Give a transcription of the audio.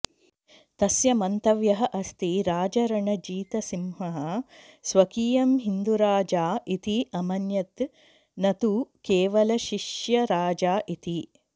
तस्य मन्तव्यः अस्ति राजारणजीतसिंहः स्वकीयं हिन्दुराजा इति अमन्यत् न तु केवलशिष्यराजा इति